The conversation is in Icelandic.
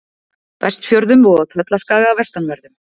Vestfjörðum og á Tröllaskaga vestanverðum.